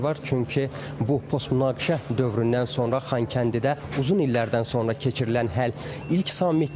Çünki bu postmünaqişə dövründən sonra Xankəndidə uzun illərdən sonra keçirilən ilk sammitdir.